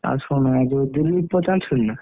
ଆଉ ଶୁଣ ଏଇ ଯୋଉ ଦିଲୀପ ପୁଅ ନା।